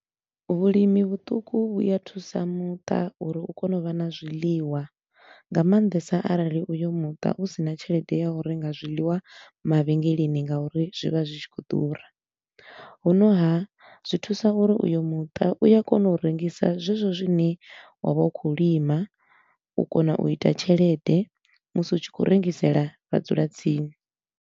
Vhulimi vhuṱuku vhu ya thusa muṱa uri u kone u vha na zwiḽiwa, nga maanḓesa arali uyo muṱa hu sina tshelede ya u renga zwiḽiwa mavhengeleni nga uri zwi vha zwi tshi khou ḓura. Hu no haa, zwi thusa uri uyo muṱa u ya kona u rengisa zwezwo zwine wa vha u khou lima, u kona u ita tshelede musi u tshi khou rengisela vhadzulatsini.